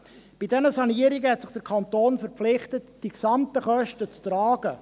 Bei diesen Sanierungen verpflichtete sich der Kanton, die gesamten Kosten zu tragen.